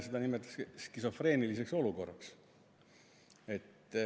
Seda nimetatakse skisofreeniliseks olukorraks.